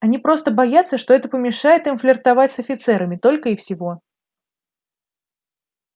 они просто боятся что это помешает им флиртовать с офицерами только и всего